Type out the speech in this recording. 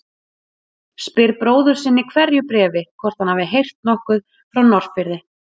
Spyr bróður sinn í hverju bréfi hvort hann hafi heyrt nokkuð frá Norðfirði.